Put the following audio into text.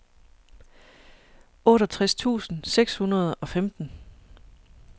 otteogtres tusind seks hundrede og femten